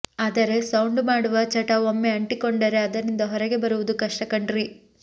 ಆದರೆ ಸೌಂಡು ಮಾಡುವ ಚಟ ಒಮ್ಮೆ ಅಂಟಿಕೊಂಡರೆ ಅದರಿಂದ ಹೊರಗೆ ಬರುವುದು ಕಷ್ಟ ಕಣ್ರೀ